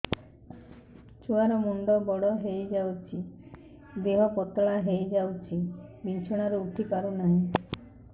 ଛୁଆ ର ମୁଣ୍ଡ ବଡ ହୋଇଯାଉଛି ଦେହ ପତଳା ହୋଇଯାଉଛି ବିଛଣାରୁ ଉଠି ପାରୁନାହିଁ